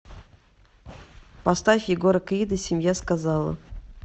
поставь егора крида семья сказала